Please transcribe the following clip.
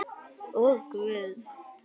Og Guðs.